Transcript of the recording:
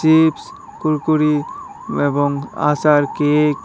chips Kurkure এবং আচার cake --